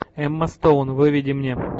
эмма стоун выведи мне